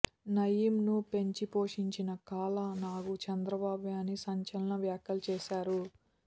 నయీమ్ ను పెంచి పోషించిన కాల నాగు చంద్రబాబే అని సంచలన వ్యాఖ్యలు చేశారు